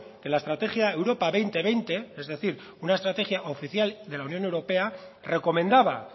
que la estrategia europa dos mil veinte es decir una estrategia oficial de la unión europea recomendaba